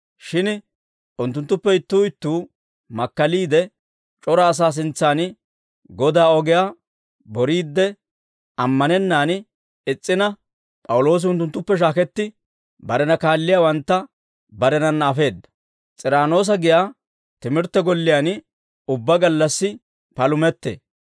Shin unttunttuppe ittuu ittuu makkaliide, c'ora asaa sintsan Godaa ogiyaa boriidde ammanennaan is's'ina, P'awuloosi unttunttuppe shaaketti, barena kaalliyaawantta barenanna afeedda; S'iraanoosa giyaa timirtte golliyaan ubbaa gallassi palumettee.